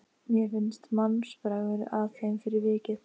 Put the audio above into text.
Mér finnst mannsbragur að þeim fyrir vikið.